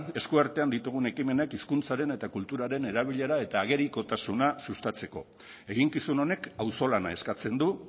eskuartean ditugun ekimenak hizkuntzaren eta kulturaren erabilera eta agerikotasuna sustatzeko eginkizun honek auzolana eskatzen du